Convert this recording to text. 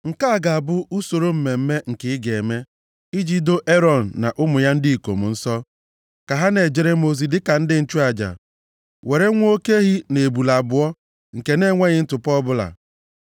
“Nke a ga-abụ usoro mmemme nke ị ga-eme, iji doo Erọn na ụmụ ya ndị ikom nsọ, ka ha na-ejere m ozi dịka ndị nchụaja. Were nwa oke ehi na ebule abụọ nke na-enweghị ntụpọ ọbụla.